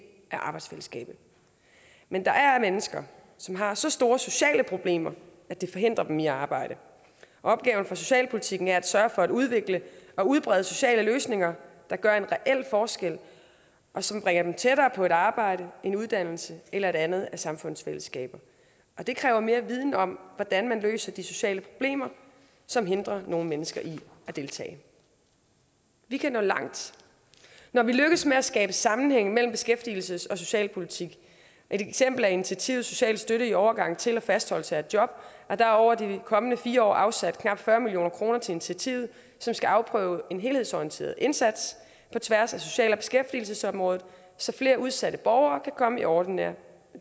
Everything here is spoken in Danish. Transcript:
af arbejdsfællesskabet men der er mennesker som har så store sociale problemer at det forhindrer dem i at arbejde opgaven for socialpolitikken er at sørge for at udvikle og udbrede sociale løsninger der gør en reel forskel og som bringer dem tættere på et arbejde en uddannelse eller et andet af samfundets fællesskaber og det kræver mere viden om hvordan man løser de sociale problemer som hindrer nogle mennesker i at deltage vi kan nå langt når vi lykkes med at skabe sammenhæng mellem beskæftigelses og socialpolitik et eksempel er initiativet social støtte i overgang til og fastholdelse af job der er over de kommende fire år afsat knap fyrre million kroner til initiativet som skal afprøve en helhedsorienteret indsats på tværs af social og beskæftigelsesområdet så flere udsatte borgere kan komme i ordinære